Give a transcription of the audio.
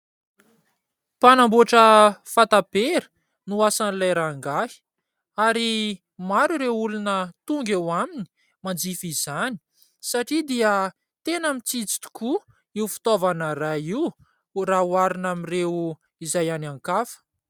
Mpanamboatra fatapera no asan' ilay rangahy ary maro ireo olona tonga eo aminy manjifa izany satria dia tena mitsitsy tokoa io fitaovana iray io raha oharina amin' ireo izay any an-kafa